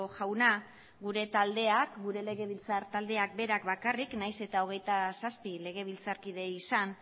jauna gure taldeak gure legebiltzar taldeak berak bakarrik nahiz eta hogeita zazpi legebiltzar kide izan